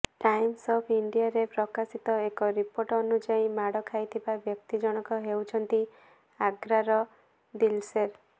times of ଇଣ୍ଡିଆରେ ପ୍ରକାଶିତ ଏକ ରିପୋର୍ଟ ଅନୁଯାୟୀ ମାଡ ଖାଇଥିବା ବ୍ୟକ୍ତି ଜଣଙ୍କ ହେଉଛନ୍ତି ଆଗ୍ରାର ଦିଲସେର